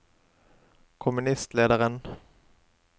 kommunistlederen